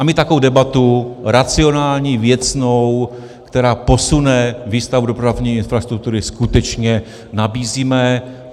A my takovou debatu, racionální, věcnou, která posune výstavbu dopravní infrastruktury, skutečně nabízíme.